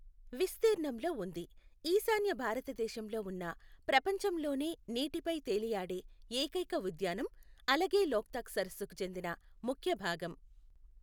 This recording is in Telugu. విస్తీర్ణంలో ఉంది, ఈశాన్య భారతదేశంలో ఉన్న ప్రపంచంలోనే నీటిపై తేలియాడే ఏకైక ఉద్యానం, అలగే లోక్తాక్ సరస్సుకు చెందిన ముఖ్య భాగం.